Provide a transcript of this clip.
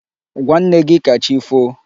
Gwa nne gị ka chi foo!